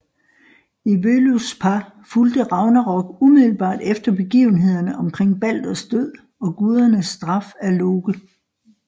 I Völuspá fulgte Ragnarok umiddelbart efter begivenhederne omkring Balders død og gudernes straf af Loke